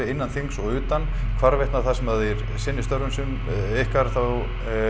innan þings og utan hvarvetna sem þið sinnið störfum ykkar þá